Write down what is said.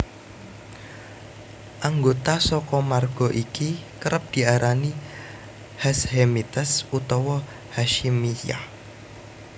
Anggota saka marga iki kerep diarani Hashemites utawa Hasyimiyah